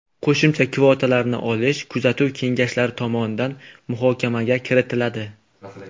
Qo‘shimcha kvotalarni olish kuzatuv kengashlari tomonidan muhokamaga kiritiladi.